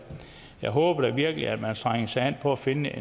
jeg håber da virkelig at man strenger sig an for at finde